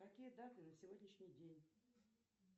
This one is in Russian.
какие даты на сегодняшний день